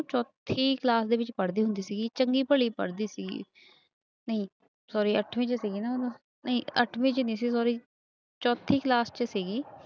ਚੋਥੀ class ਦੇ ਵਿੱਚ ਪੜ੍ਹਦੀ ਹੁੰਦੀ ਸੀਗੀ, ਚੰਗੀ ਭਲੀ ਪੜ੍ਹਦੀ ਸੀਗੀ ਨਹੀਂ sorry ਅੱਠਵੀਂ ਚ ਸੀਗੀ ਨਾ ਉਦੋਂ ਨਹੀਂ ਅੱਠਵੀਂ ਚ ਨੀ ਸੀ sorry ਚੌਥੀ class ਚ ਸੀਗੀ।